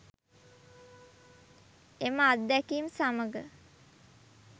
එම අත්දැකීම් සමග